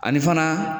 Ani fana